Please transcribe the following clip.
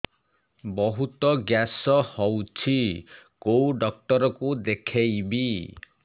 ବହୁତ ଗ୍ୟାସ ହଉଛି କୋଉ ଡକ୍ଟର କୁ ଦେଖେଇବି